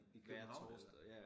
I København eller